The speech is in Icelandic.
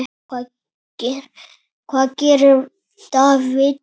Hvað gerir Davids?